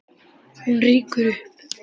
Hún rýkur upp.